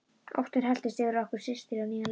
Óttinn helltist yfir okkur systur á nýjan leik.